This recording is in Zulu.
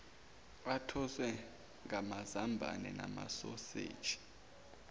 athoswe ngamazambane namasoseji